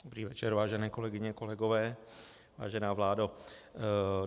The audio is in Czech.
Dobrý večer, vážené kolegyně, kolegové, vážená vládo.